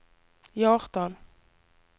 Hjartdal